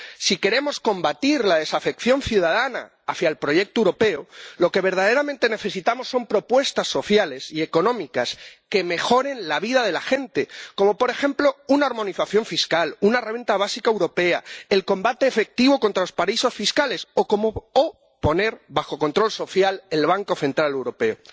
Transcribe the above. Si queremos combatir la desafección ciudadana hacia el proyecto europeo, lo que verdaderamente necesitamos son propuestas sociales y económicas que mejoren la vida de la gente, como, por ejemplo, una armonización fiscal, una renta básica europea, el combate efectivo contra los paraísos fiscales o poner bajo control social al Banco Central Europeo.